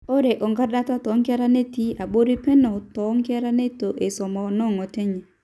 ore orkordata toonkera netii abori peno too nkera neitu eisuma noo ng'otonye